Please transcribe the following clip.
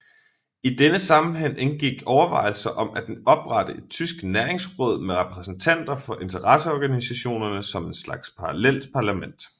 I denne sammenhæng indgik overvejelser om at oprette et tysk næringsråd med repræsentanter for interesseorganisationerne som en slags parallelt parlament